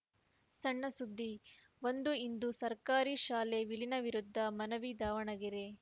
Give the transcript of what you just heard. ಸಣ್ಣ ಸುದ್ದಿ ಒಂದು ಇಂದು ಸರ್ಕಾರಿ ಶಾಲೆ ವಿಲೀನ ವಿರುದ್ಧ ಮನವಿ ದಾವಣಗೆರೆ